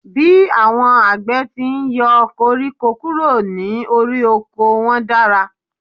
Bí àwọn àgbẹ̀ ti n yọ koríko kúrò ní orí oko wọ́n dára